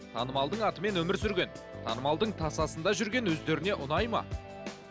танымалдың атымен өмір сүрген танымалдың тасасында жүрген өздеріне ұнайды ма